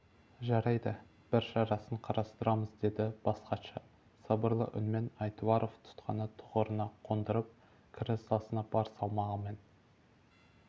жарайды бір шарасын қарастырамыз деді бас хатшы сабырлы үнмен айтуаров тұтқаны тұғырына қондырып креслосына бар салмағымен